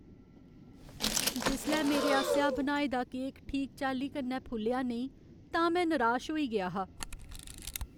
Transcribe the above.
जिसलै मेरे आसेआ बनाए दा केक ठीक चाल्ली कन्नै फुल्लेआ नेईं तां में निराश होई गेआ हा।